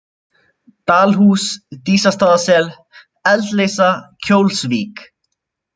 Dalhús, Dísastaðasel, Eldleysa, Kjólsvík